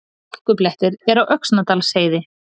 Hálkublettir eru á Öxnadalsheiði